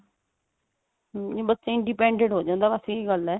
hm ਬੱਚਾ independent ਹੋ ਜਾਂਦਾ ਬੱਸ ਇਹੀ ਗੱਲ ਆ